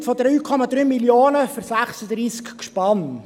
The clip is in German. Ein Kredit von 3,3 Mio. Franken für 36 Gespanne.